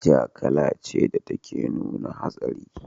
Ja kala ce da take nuna hatsari.